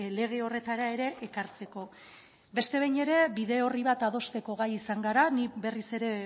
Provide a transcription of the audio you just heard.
lege horretara ere ekartzeko beste behin ere bide orri bat adosteko gai izan gara ni berriz